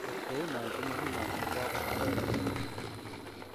Ot kounon komogimong'u kwo korkoret Merssi.